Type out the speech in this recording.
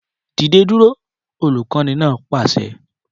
Dìde dúró! Olùkọ́ni náà pàṣẹ